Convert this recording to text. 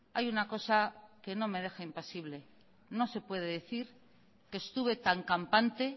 hay una cosa que no me deja impasible no se puede decir que estuve tan campante